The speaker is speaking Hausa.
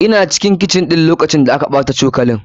Ina cikin kicin ɗin lokacin da aka ɓata cokalan.